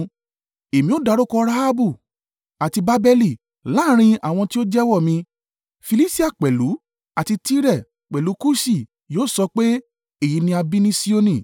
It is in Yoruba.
“Èmi ó dárúkọ Rahabu àti Babeli láàrín àwọn tí ó jẹ́wọ́ mi: Filistia pẹ̀lú, àti Tire, pẹ̀lú Kuṣi, yóò sọ pé, ‘Èyí ni a bí ní Sioni.’ ”